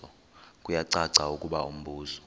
kuyacaca ukuba umbuso